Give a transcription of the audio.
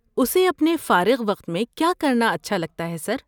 اسے اپنے فارغ وقت میں کیا کرنا اچھا لگتا ہے، سر؟